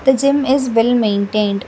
the gym is well maintained.